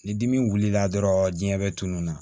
Ni dimi wulila dɔrɔn diɲɛ bɛ tunun na